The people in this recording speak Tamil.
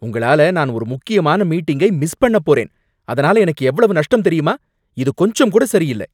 உங்களால நான் ஒரு முக்கியமான மீட்டிங்கை மிஸ் பண்ணப் போறேன், அதனால எனக்கு எவ்வளவு நஷ்டம் தெரியுமா? இது கொஞ்சம் கூட சரியில்லை.